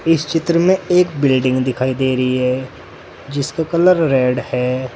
इस चित्र में एक बिल्डिंग दिखाई दे रही है जिसका कलर रेड है।